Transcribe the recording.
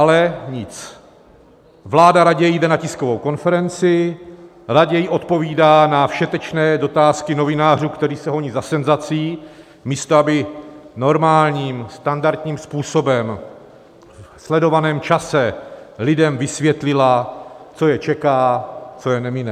Ale nic, vláda raději jde na tiskovou konferenci, raději odpovídá na všetečné otázky novinářů, kteří se honí za senzací, místo aby normálním, standardním způsobem ve sledovaném čase lidem vysvětlila, co je čeká, co je nemine.